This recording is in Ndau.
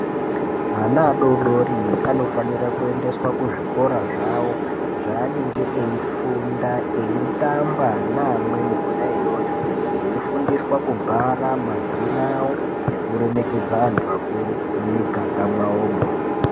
Ana adori-dori anofanira kuendeswa kuzvikora zvavo zvaanenge eifunda, eitamba naamweni kona iyoyo, veifundiswa kubhara mazina avo nekuremekedza antu akuru mumiganga mwavomo.